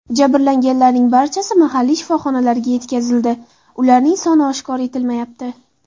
Jabrlanganlarning barchasi mahalliy shifoxonalarga yetkazildi, ularning soni oshkor etilmayapti.